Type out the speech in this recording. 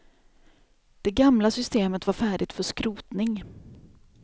Det gamla systemet var färdigt för skrotning.